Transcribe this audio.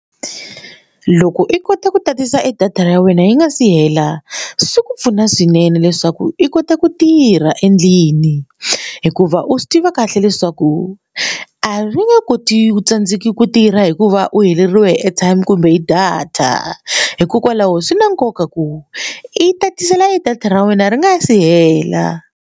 Loko i kota ku tatisa edata ra wena yi nga si hela swi ku pfuna swinene leswaku i kota ku tirha endlini hikuva u swi tiva kahle leswaku a ri nge koti ku tsandzeka ku tirha hikuva u heleriwe hi airtime kumbe data hikokwalaho swi na nkoka ku i tatisela data ra wena ri nga si hela.